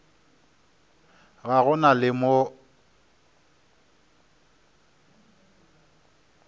ga go na le mo